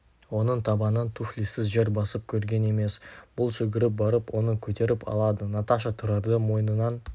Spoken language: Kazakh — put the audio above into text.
оның табаны туфлисіз жер басып көрген емес бұл жүгіріп барып оны көтеріп алады наташа тұрарды мойнынан